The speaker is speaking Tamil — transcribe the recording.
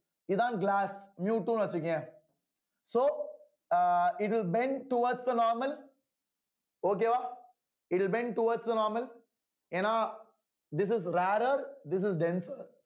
இதான் glass miu two ன்னு வச்சுக்கோயேன் so அ it will bends towards the normal okay வா it will bend towards the normal ஏன்னா this is the rarer this is denser